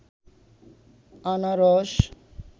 আনারস